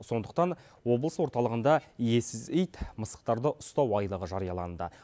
сондықтан облыс орталығында иесіз ит мысықтарды ұстау айлығы жарияланды